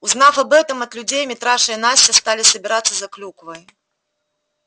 узнав об этом от людей митраша и настя стали собираться за клюквой